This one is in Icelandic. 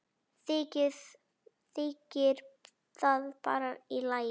Þykir það bara í lagi.